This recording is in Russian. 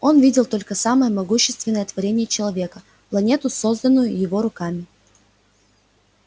он видел только самое могущественное творение человека планету созданную его руками